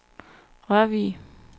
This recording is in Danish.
Rørvig